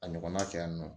A ɲɔgɔnna kɛ yan nɔ